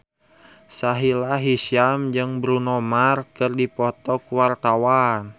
Sahila Hisyam jeung Bruno Mars keur dipoto ku wartawan